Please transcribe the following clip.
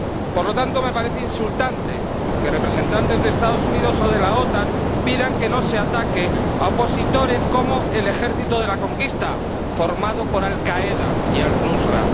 Por lo tanto, me parece insultante que representantes de los Estados Unidos o de la OTAN pidan que no se ataque a opositores como el Ejército de la Conquista, formado por Al Qaeda y Al Nusra.